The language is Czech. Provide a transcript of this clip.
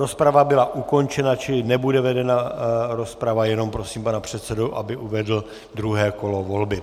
Rozprava byla ukončena, čili nebude vedena rozprava, jenom prosím pana předsedu, aby uvedl druhé kolo volby.